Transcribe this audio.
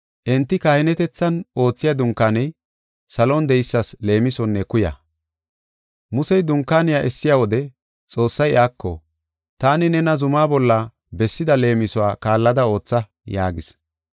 Enti kahinetethan oothiya dunkaaney salon de7eysas leemisonne kuya. Musey dunkaaniya essiya wode Xoossay iyako, “Taani nena zumaa bolla bessida leemisuwa kaallada ootha” yaagis.